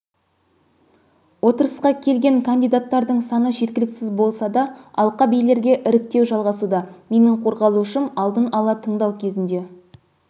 отырысқа келген кандидаттардың саны жеткіліксіз болса да алқабилерге іріктеу жалғасуда менің қорғалушым алдын ала тыңдау кезінде